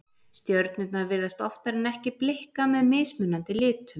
stjörnurnar virðast oftar en ekki blikka með mismunandi litum